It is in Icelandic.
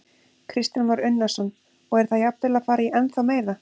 Kristján Már Unnarsson: Og er það jafnvel að fara í ennþá meira?